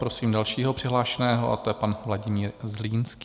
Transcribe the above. Prosím dalšího přihlášeného, a to je pan Vladimír Zlínský.